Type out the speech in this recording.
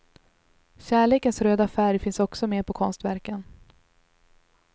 Kärlekens röda färg finns också med på konstverken.